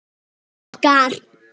Svona var mamma okkar.